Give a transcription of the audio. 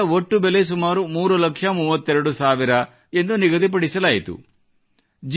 ಬೆಳೆಯ ಒಟ್ಟು ಬೆಲೆ ಸುಮಾರು ಮೂರು ಲಕ್ಷ ಮೂವತ್ತೆರಡು ಸಾವಿರ ಎಂದು ನಿಗದಿಪಡಿಸಲಾಯಿತು